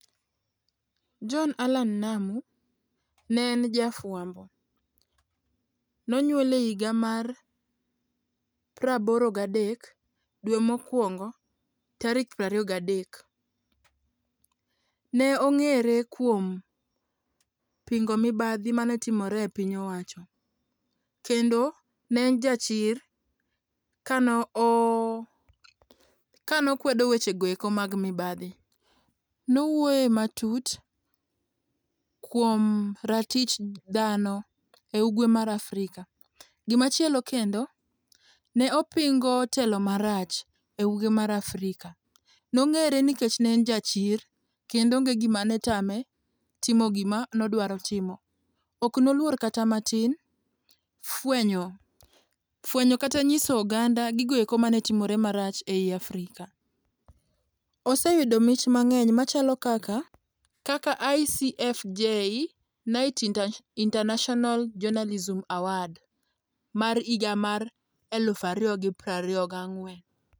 John Allan Namu ne en jafuambo, nonyuole higa mar praboro gadek dwe mokuongo tarik prariyo gadek. Ne ongere kuom pingo mibadhi mane timore e piny owacho kendo ne en jachir kane okwedo weche goeko mag mibadhi. Nowuoye matut kuom ratich dhano e ugwe mar Afrika. Gimachielo kendo ,ne opingo telo marach e ugwe mar Afrika, ne ongere nikech ne en ja chir kendo onge gimane tame timo gima nodwaro timo, ok noluor kata matin fwenyo, fwenyo kata nyiso oganda gigo manetimore marach ei Afrika. Oseyudo mich mangeny machalo kaka, kaka ICFJ Knight International Journalism award mar higa mar eluf ariyo gi prariyo ga ang'wen